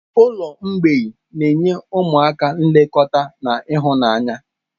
Ụlọ mgbei na-enye ụmụaka nlekọta na ịhụnanya.